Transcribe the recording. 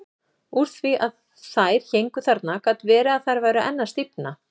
Úr því að þær héngu þarna gat verið að þær væru enn að stífna.